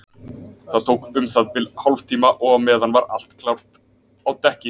Það tók um það bil hálftíma og á meðan var allt gert klárt á dekki.